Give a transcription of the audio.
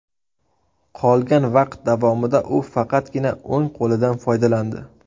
Qolgan vaqt davomida u faqatgina o‘ng qo‘lidan foydalandi.